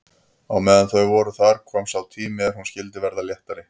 En meðan þau voru þar kom sá tími er hún skyldi verða léttari.